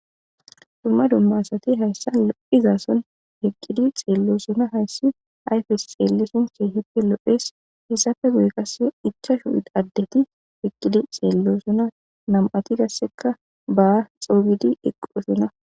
Duma duma asati haysan lo'iza son eqidi xelosona haysi ayfes xelishini kehipe lo'es heysape guye qase ichashu adeti eqidi xelosona nam'ati qaseka ba c'ogidi eqiutida.